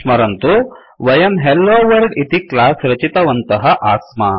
स्मरन्तु वयं हेलोवर्ल्ड इति क्लास रचितवन्तः आस्म